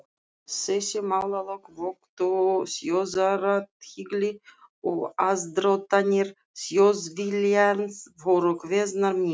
Þessi málalok vöktu þjóðarathygli, og aðdróttanir Þjóðviljans voru kveðnar niður.